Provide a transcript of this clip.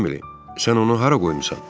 Emily, sən onu hara qoymusan?